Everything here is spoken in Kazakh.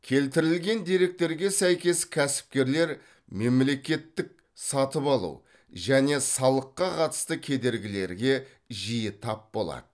келтірілген деректерге сәйкес кәсіпкерлер мемлекеттік сатып алу және салыққа қатысты кедергілерге жиі тап болады